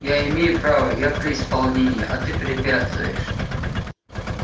я имею право я при исполнении а ты препятствуешь